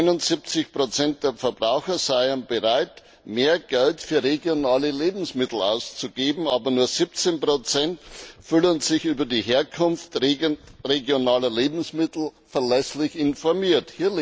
79 der Verbraucher seien bereit, mehr Geld für regionale Lebensmittel auszugeben, aber nur 17 fühlen sich über die Herkunft regionaler Lebensmittel verlässlich informiert.